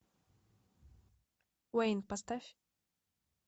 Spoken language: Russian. уэйн поставь